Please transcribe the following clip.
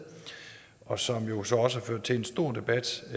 og som jo så også har ført til en stor debat i